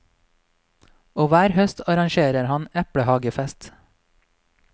Og hver høst arrangerer han eplehagefest.